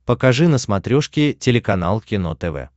покажи на смотрешке телеканал кино тв